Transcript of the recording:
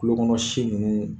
Tulokɔnɔ si ninnu